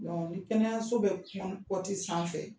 ni kɛnɛyaso bɛ sanfɛ